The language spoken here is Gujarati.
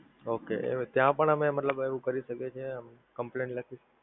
Okay ત્યાં પણ અમે મતલબ એવું કરી શકીએ છીએ Complaint લખી